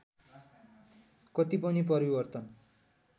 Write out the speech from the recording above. कति पनि परिवर्तन